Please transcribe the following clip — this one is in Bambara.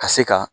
Ka se ka